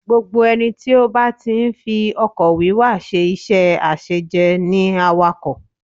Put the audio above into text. Gbogbo ẹni tí ó bá ti ń fi ọkọ̀ wíwa ṣe iṣẹ́ àṣejẹ ni awakọ̀